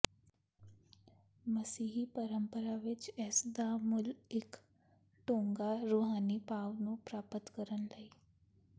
ਮਸੀਹੀ ਪਰੰਪਰਾ ਵਿਚ ਇਸ ਦਾ ਮੁੱਲ ਇੱਕ ਡੂੰਘਾ ਰੂਹਾਨੀ ਭਾਵ ਨੂੰ ਪ੍ਰਾਪਤ ਕਰਨ ਲਈ